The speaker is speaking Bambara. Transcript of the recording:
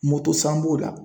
san b'o la.